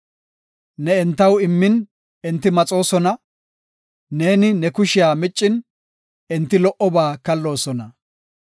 Ne entaw immin enti maxoosona; neeni ne kushiya miccin, enti lo77oba kalloosona.